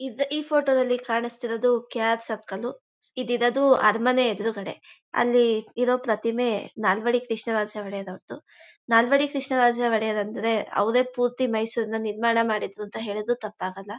ಇದ್ ಇ ಫೋಟೋ ದಲ್ಲಿ ಕಾಣಿಸ್ತಾ ಇರೋದು ಕೆ ಆರ್ ಸರ್ಕಲ್ ಉ. ಈದ್ ಇರೋದು ಅರಮನೆ ಎದುರುಗಡೆ. ಅಲ್ಲಿ ಇರೋ ಪ್ರತಿಮೆ ನಾಲ್ವಡಿ ಕೃಷ್ಣ ರಾಜ ಒಡೆಯವರ ಅವರದು. ನಾಲ್ವಡಿ ಕೃಷ್ಣರಾಜ ಒಡೆಯರ್ ಅಂದರೆ ಅವರೇ ಪೂರ್ತಿ ಮೈಸೂರ್ ನ ನಿರ್ಮಾಣ ಮಾಡಿದ್ದು ಅಂತ ಹೇಳಿದ್ರೂ ತಪ್ಪಾಗಲ್ಲ.